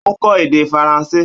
Ó n kó èdè faransé